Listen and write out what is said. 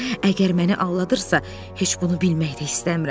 Əgər məni aldadırsa, heç bunu bilmək də istəmirəm.